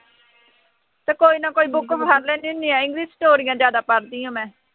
ਅਤੇ ਕੋਈ ਨਾ ਕੋਈ book ਮੈਂ ਫੜ੍ਹ ਲੈਂਦੀ ਹੁੰਦੀ ਆ, english ਸਟੋਰੀਆਂ ਜ਼ਿਆਦਾ ਪੜ੍ਹਦੀ ਹਾਂ ਮੈਂ,